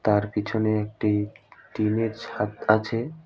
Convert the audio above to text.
তার পিছনে একটি টিন -এর ছাদ আছে।